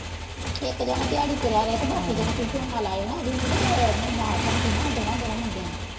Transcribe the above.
ਇਕ ਜਾਣਾ ਦਿਹਾੜੀ ਤੁਰਿਆ ਰਹੇ ਤੇ ਬਾਕੀ ਜਾਣੇ ਤੁਹੀ ਝੋਨਾ ਲਾਇਓ ਨਾ ਅਭੀ ਨੂੰ ਤੇ ਓਹਨੂੰ ਵੀ ਨਾਲ ਰੱਖੀ ਨਾ ਦੋਵਾਂ ਦੋਵਾਂ ਮੁੰਡਿਆਂ ਨੂੰ